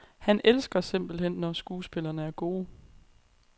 Han elsker simpelthen, når skuespillere er gode.